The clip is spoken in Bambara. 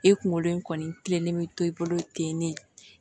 E kunkolo in kɔni tilenlen bɛ to i bolo ten ne